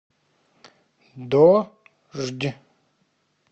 дождь